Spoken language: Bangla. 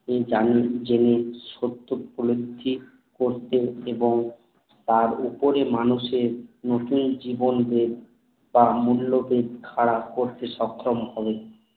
তিনি জানোই জেনে সত্য করতেন এবং তার উপরে মানুষ এর নতুন জীবন দেব খাড়া করতে সক্ষম হবে